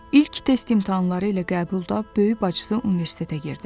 İlk test imtahanları ilə qəbulda böyük bacısı universitetə girdi.